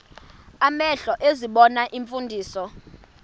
amehlo ezibona iimfundiso